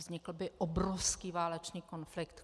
Vznikl by obrovský válečný konflikt.